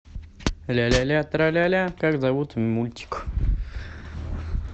ля ля ля тра ля ля как зовут мультик